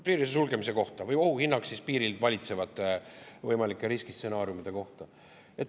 Piiride sulgemise kohta või ohuhinnang piiril valitsevate võimalike riskistsenaariumide kohta.